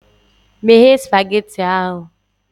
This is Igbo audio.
Meghe spageti ahụ!